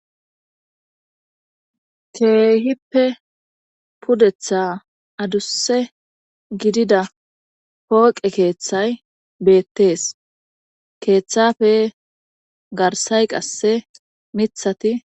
Keehippe pudetha adusse gidida pooqe keeththay beettees keeththafe garsay qasse mithati